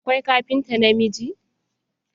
Akwai kafinta namiji.